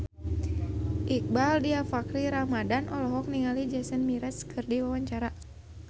Iqbaal Dhiafakhri Ramadhan olohok ningali Jason Mraz keur diwawancara